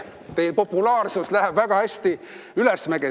Teie populaarsus läheb väga hästi ülesmäge.